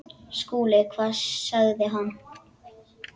SKÚLI: Hvað sagði hann?